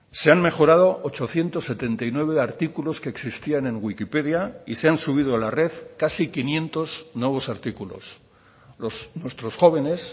se han mejorado ochocientos setenta y nueve artículos que existían en wikipedia y se han subido a la red casi quinientos nuevos artículos nuestros jóvenes